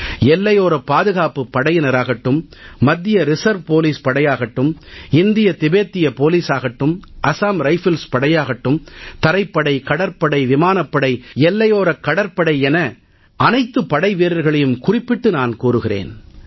எல்லையோரப் பாதுகாப்புப் படையினராகட்டும் மத்திய ரிசர்வ் போலீஸ் படையாகட்டும் இந்திய திபத்திய போலீசாகட்டும் அசாம் ரைஃபிள்ஸ் படையாகட்டும் தரைப்படை கடற்படை விமானப்படை கடலோரக் காவல் படை என அனைத்து படைவீரர்களையும் குறிப்பிட்டு நான் கூறுகிறேன்